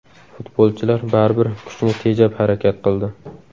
Futbolchilar baribir kuchni tejab harakat qildi.